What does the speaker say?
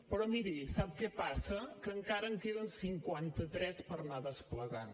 però miri sap què passa que encara en queden cinquantatres per anar desplegant